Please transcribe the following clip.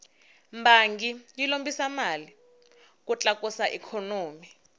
bangi yi lombisa mali ku tlakusa ikhonomi